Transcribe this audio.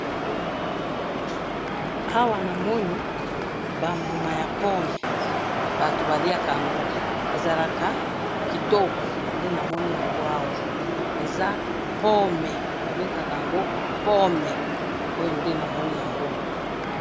Awa namoni bambuma yapome batu baliyaka yango babengakayango pome pome